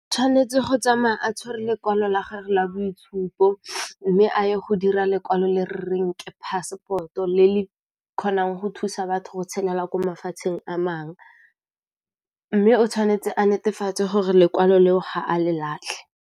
Tshwanetse go tsamaya a tshware lekwalo la gago la boitshupo mme a ye go dira lekwalo le reng ke passport o le le kgonang go thusa batho go tshela ko mafatsheng a mangwe, mme o tshwanetse a netefatse gore lekwalo leo ga a le latlhe.